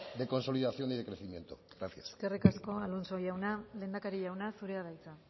de consolidación y de crecimiento gracias eskerrik asko alonso jauna lehendakari jauna zurea da hitza